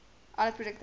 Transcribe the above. all produkte erts